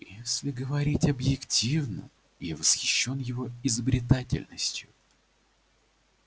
если говорить объективно я восхищён его изобретательностью